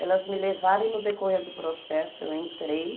Elas me levaram e no decorrer do processo eu entrei.